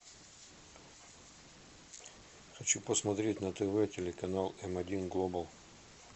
хочу посмотреть на тв телеканал эм один глобал